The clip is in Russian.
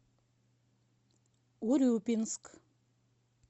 урюпинск